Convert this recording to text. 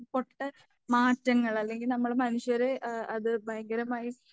പൊട്ട മാറ്റങ്ങൾ അല്ലെങ്കിൽ നമ്മൾ മനുഷ്യര് ഏഹ് അത് ഭയങ്കരമായി